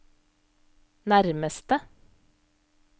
nærmeste